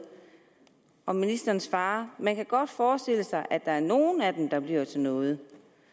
og ministeren svarer man kan godt forestille sig at der er nogle af dem der bliver til noget